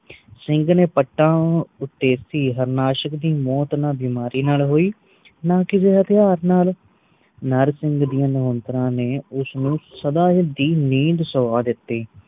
ਸਿੰਘ ਨੇ ਪੱਟਾ ਉੱਤੇ ਸੀ ਹਾਰਨਾਸ਼ਕ ਦੀ ਮੌਤ ਨਾ ਬਿਮਾਰੀ ਨਾਲ ਹੋਈ ਨਾ ਕਿਸੇ ਹਥਿਯਾਰ ਨਾਲ ਨਰਸਿੰਘ ਦੀਆ ਮੁਹਾਂਦਰਾ ਨੇ ਉਸਨੂੰ ਸਦਾ ਦੀ ਨੀਂਦ ਸੁਆ ਦਿਤੀ